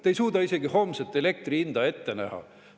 Te ei suuda isegi homset elektri hinda ette näha.